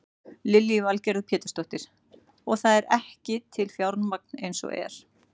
Lillý Valgerður Pétursdóttir: Og það er ekki til fjármagn eins og er?